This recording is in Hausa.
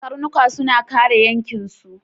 Karnuka suna kare yankinsu.